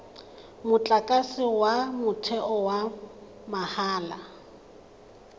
motlakase wa motheo wa mahala